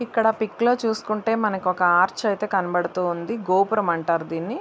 ఇక్కడ పిక్ లో చూసుకుంటే మనకొక ఆర్చ్ అయితే కనబడుతూ ఉంది. గోపురం అంటారు దీన్ని.